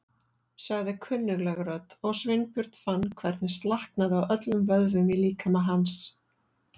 sagði kunnugleg rödd og Sveinbjörn fann hvernig slaknaði á öllum vöðvum í líkama hans.